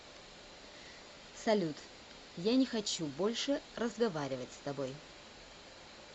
салют я не хочу больше разговаривать с тобой